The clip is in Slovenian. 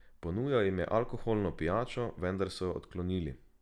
Ponujal jim je alkoholno pijačo, vendar so jo odklonili.